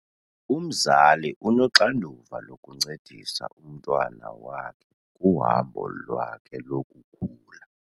Umzali unoxanduva lokuncedisa umntwana wakhe kuhambo lwakhe lokukhula.